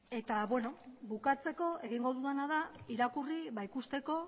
bukatzeko egingo dudana da irakurri ikusteko